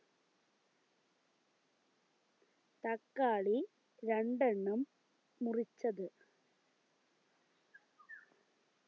തക്കാളി രണ്ടെണ്ണം മുറിച്ചത്